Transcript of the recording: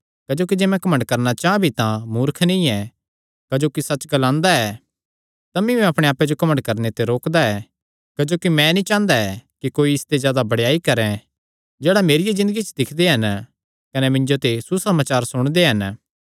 क्जोकि जे मैं घमंड करणा चां भी तां मूर्ख नीं ऐ क्जोकि सच्च ग्लांदा ऐ तमी मैं अपणे आप्पे जो घमंड करणे ते रोकदा ऐ क्जोकि मैं नीं चांह़दा ऐ कि कोई इसते जादा बड़ेयाई करैं जेह्ड़ा मेरिया ज़िन्दगिया च दिक्खदे हन कने मिन्जो ते सुसमाचार सुणदे हन